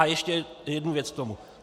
A ještě jednu věc k tomu.